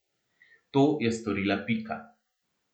To je storila Pika.